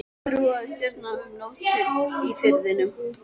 Þrúði stjörnur um nótt í Firðinum.